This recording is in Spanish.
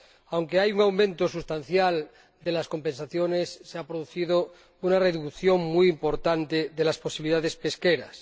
Aunque hay un aumento sustancial de las compensaciones, se ha producido una reducción muy importante de las posibilidades pesqueras.